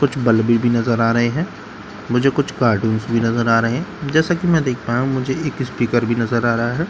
कुछ बल्‍बस भी नजर आ रहे हैं मुझे कुछ कार्टून्‍स भी नजर आ रहे हैं जैसा कि मैं देख पा रहा हूं मुझे एक स्‍पीकर भी नजर आ रहा है ।